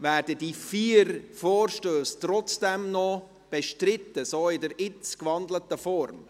Werden die vier Vorstösse trotzdem noch bestritten, in der gewandelten Form?